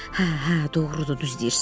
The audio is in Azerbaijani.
Hə, hə, doğrudur, düz deyirsən.